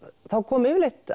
þá kom yfirleitt